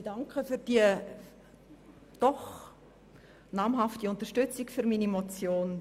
Ich danke für die doch namhafte Unterstützung meiner Motion.